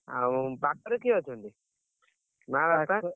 ଆଉ ପାଖରେ କିଏ ଅଛନ୍ତି?